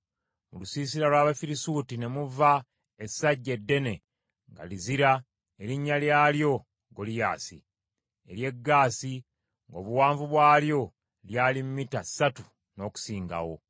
Mu lusiisira lw’Abafirisuuti ne muva essajja eddene nga lizira erinnya lyalyo Goliyaasi , ery’e Gaasi, ng’obuwanvu bwalyo lyali mita ssatu n’okusingawo.